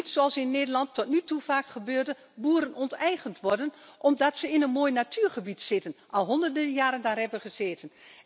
En niet zoals in Nederland tot nu toe vaak gebeurde, dat boeren onteigend worden omdat ze in een mooi natuurgebied zitten, terwijl ze daar al honderden jaren hebben gezeten.